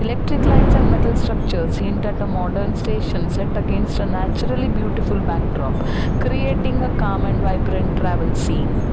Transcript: Electric lines and metal structures hint at the modern station set against a naturally beautiful backdrop creating a calm and vibrant travel scene.